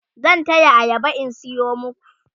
zan taya ayaba in sayo maku